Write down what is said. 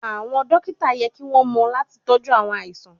Awọn dokita yẹ ki won mo lati toju awon alaisan